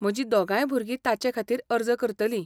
म्हजीं दोगांय भुरगीं ताचेखातीर अर्ज करतलीं.